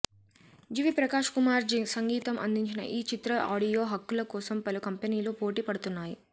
GV Prakash Kumar సంగీతం అందించిన ఈ చిత్ర ఆడియో హక్కుల కోసం పలు కంపెనీలు పోటీ పడుతున్నాయి